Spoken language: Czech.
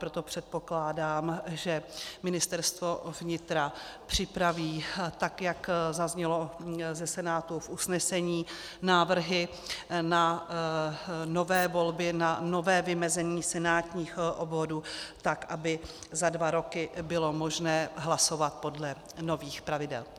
Proto předpokládám, že Ministerstvo vnitra připraví, tak jak zaznělo ze Senátu v usnesení, návrhy na nové volby, na nové vymezení senátních obvodů tak, aby za dva roky bylo možné hlasovat podle nových pravidel.